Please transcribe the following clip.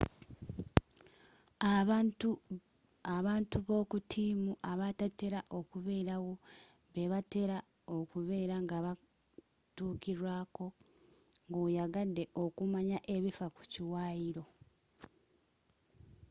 abantu b'okutiimu abatatela kuberawo bebatela okubera ng'abatukilwako ng'oyagadde okumanaya ekiffa ku kiwayilo